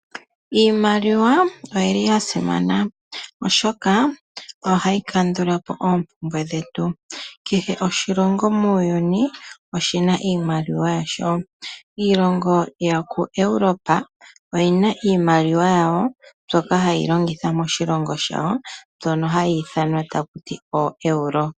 Iimaliwa oyili ya simana oshoka, ohayi kandula po oompumbwe dhetu. Kehe oshilongo muuyuni, oshina iimaliwa yasho. Iilongo yokoEuropa, oyina iimaliwa yawo mbyoka hayi longithwa moshilongo shawo, mbyono hayi ithanwa takuti ooeuro.